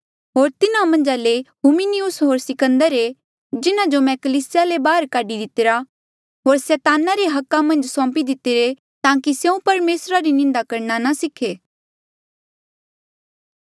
होर तिन्हा मन्झा ले हुमिनियुस होर सिकंदर ऐें जिन्हा जो मैं कलीसिया ले बाहर काढी दितिरा होर सैताना रे हका मन्झ सौंपी दितिरे ताकि स्यों परमेसरा री निंदा करणा ना सीखे